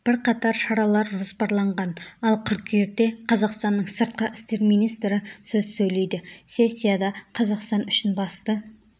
бірқатар шаралар жоспарланған ал қыркүйекте қазақстанның сыртқы істер министрі сөз сөйлейді сессияда қазақстан үшін басты